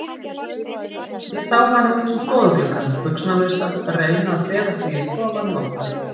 Ég sá hana út um stofugluggann, buxnalausa, reyna að fela sig í kofanum okkar.